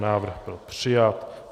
Návrh byl přijat.